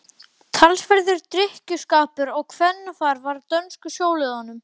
Talsverður drykkjuskapur og kvennafar var á dönsku sjóliðunum.